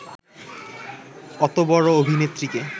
অত বড় অভিনেত্রীকে